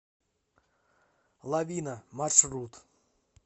лавина маршрут